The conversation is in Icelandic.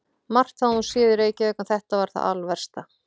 Margt hafði hún séð í Reykjavík en þetta var það alversta.